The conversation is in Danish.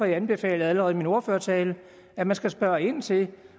jeg anbefalede allerede i min ordførertale at man skal spørge ind til